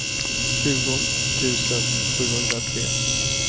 tjugo tusen sjuhundratre